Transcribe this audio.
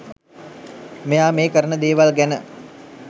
මෙයා මේ කරන දේවල් ගැන